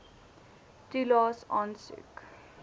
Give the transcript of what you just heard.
toelaes aansoek